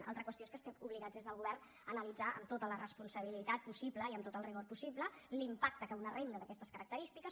una altra qüestió és que estem obligats des del govern a analitzar amb tota la responsabilitat possible i amb tot el rigor possible l’impacte que una renda d’aquestes característiques